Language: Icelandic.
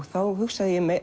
þá hugsaði ég